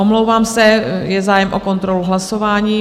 Omlouvám se, je zájem o kontrolu hlasování.